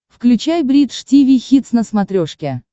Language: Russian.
включай бридж тиви хитс на смотрешке